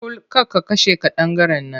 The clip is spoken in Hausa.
Kul! ka kashe ƙadangaren nan!